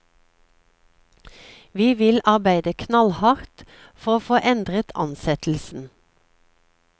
Vi vil arbeide knallhardt for å få endret ansettelsen.